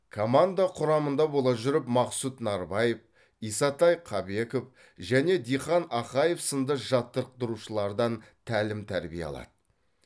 команда құрамында бола жүріп мақсұт нарбаев исатай қабеков және диқан ақаев сынды жаттықтырушылардан тәлім тәрбие алады